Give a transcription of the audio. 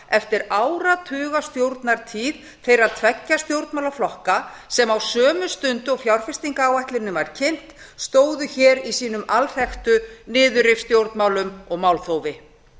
eftir áratugastjórnartíð þeirra tveggja stjórnmálaflokka sem á sömu stundu og fjárfestingaráætlunin var kynnt stóðu í sínum alþekktu niðurrifsstjórnmálum og málþófi